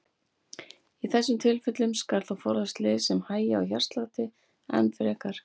Í þessum tilfellum skal þó forðast lyf sem hægja á hjartslætti enn frekar.